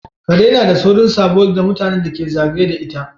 Kare nada saurin sabo da mutanen da ke zagaye da ita